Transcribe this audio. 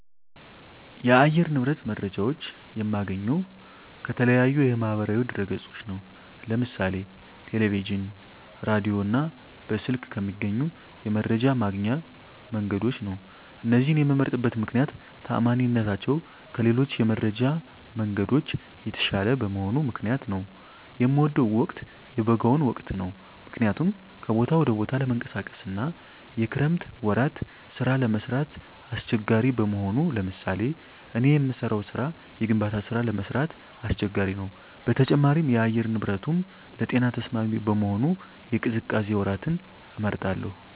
የአየር ንብረት መረጃዎች የማገኘው ከተለያዩ የማህበራዊ ድህረገጾች ነው ለምሳሌ ቴለቪዥን ራዲዮ እና በስልክ ከሚገኙ የመረጃ ማግኛ መንገዶች ነው እነዚህን የመምመርጥበት ምክነያት ተአማኒነታቸው ከሌሎች የመረጃ መንገዶች የተሻለ በመሆኑ ምክንያት ነው። የምወደው ወቅት የበጋውን ወቅት ነው ምክንያቱም ከቦታ ወደ ቦታ ለመንቀሳቀስ አና የክረምት ወራት ስራ ለመስራት አሳቸጋሪ በመሆኑ ለምሳሌ እኔ የምሰራው ስራ የግንባታ ስራ ለመስራት አስቸጋሪ ነው በተጨማሪም የአየር ንብረቱንም ለጤና ተስማሚ በመሆኑ የቅዝቃዜ ወራትን እመርጣለሁ